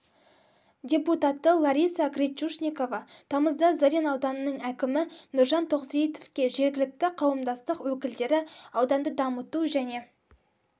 депутаты лариса гречушникова тамызда зырян ауданының әкімі нұржан тоқсейітовке жергілікті қауымдастық өкілдері ауданды дамыту және